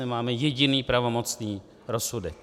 Nemáme jediný pravomocný rozsudek.